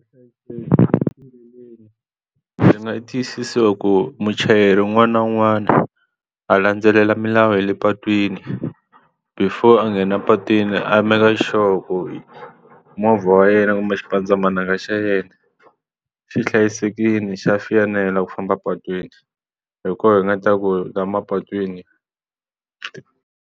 ndzi nga tiyisisa ku muchayeri un'wana na un'wana a landzelela milawu ya le patwini before a nghena a patwini a make a sure loko hi movha wa yena kumbe xipandzamananga xa yena xi hlayisekile xa fanela ku famba epatwini hi koho hi nga ta ku hi laha mapatwini.